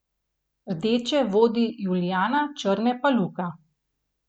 Rdeče vodi Julijana, črne pa Luka.